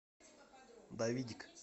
давидик